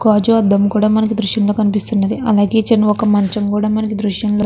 గాజు అద్దము కూడా మనకు ఈ దృశ్యం లో కనిపిస్తుంది అలాగే ఒక చిన్న మంచము కూడా ఈ దృశ్యం లో --